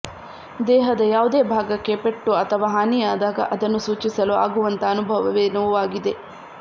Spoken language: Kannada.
ದೇಹದ ಯಾವುದೇ ಭಾಗಕ್ಕೆ ಪೆಟ್ಟು ಅಥವಾ ಹಾನಿಯಾದಾಗ ಅದನ್ನು ಸೂಚಿಸಲು ಆಗುವಂಥ ಅನುಭವವೇ ನೋವಾಗಿದೆ